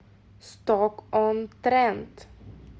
сток он трент